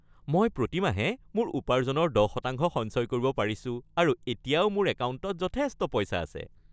মই প্ৰতি মাহে মোৰ উপাৰ্জনৰ ১০% সঞ্চয় কৰিব পাৰিছোঁ আৰু এতিয়াও মোৰ একাউণ্টত যথেষ্ট পইচা আছে।